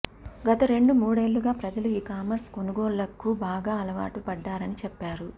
గత రెండు మూడేళ్లుగా ప్రజలు ఈ కామర్స్ కొనుగోళ్లకు బాగా అలవాటు పడ్డారని చెప్పారు